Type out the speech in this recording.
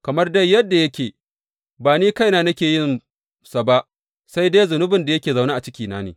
Kamar dai yadda yake, ba ni kaina nake yinsa ba, sai dai zunubin da yake zaune a cikina ne.